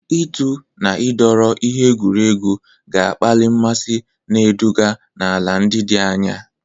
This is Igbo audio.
Ịtụ na ịdọrọ ihe egwuregwu ga-akpali mmasị, na-eduga n'ala ndị dị anya.